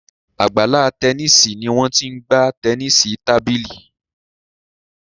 Àgbàlá Tẹníìsì ní Wón t'in gbà Tẹníìsì tábìlì.